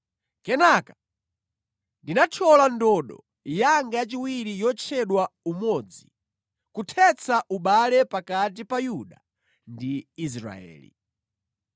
Kenaka ndinathyola ndodo yanga yachiwiri yotchedwa Umodzi, kuthetsa ubale pakati pa Yuda ndi Israeli.